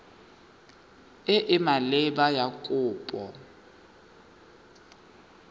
e e maleba ya kopo